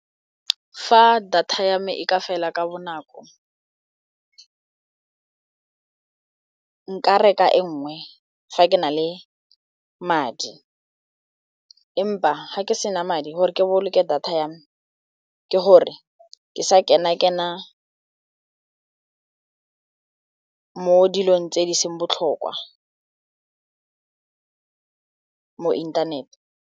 Fa data ya me e ka fela ka bonako nka reka e nngwe fa ke na le madi empa ga ke sena madi gore ke boloke data yame ke gore ke sa kena mo dilong tse di seng botlhokwa mo inthanete.